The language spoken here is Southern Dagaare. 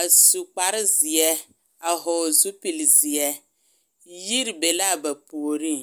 a su kparre zeɛ a vɔgle zupilii zeɛ yiri be la a ba puoriŋ.